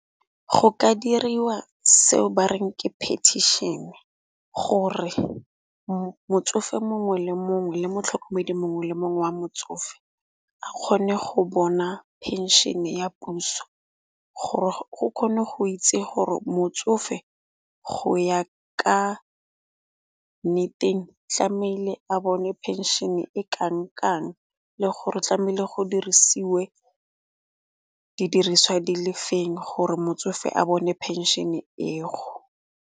Go ka diriwa seo ba reng ke petition, gore motsofe mongwe le mongwe le motlhokomedi mongwe le mongwe wa motsofe a kgone go bona phenšhene ya puso. Gore go kgone go itse gore motsofe go ya ka nneteng tlameile a bone phenšene e kang-kang le gore tlameile go dirisiwe didiriswa di le feng gore motsofe a bone phenšene eo.